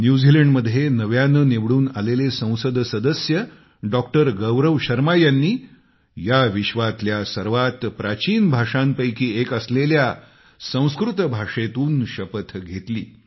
न्यूझीलँडमध्ये नव्यानं निवडून आलेले संसद सदस्य डॉक्टर गौरव शर्मा यांनी या विश्वातल्या सर्वात प्राचीन भाषांपैकी एक असलेल्या संस्कृत भाषेतून शपथ घेतली